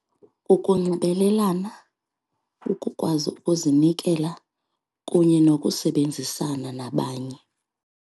Ukunxibelelana, ukukwazi ukuzinikela kunye nokusebenzisana nabanye.